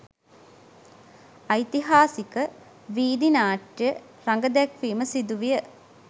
ඓතිහාසික ''වීදි නාට්‍ය'' රඟදැක්වීම සිදුවිය.